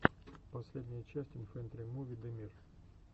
последняя часть инфэнтримуви дэмир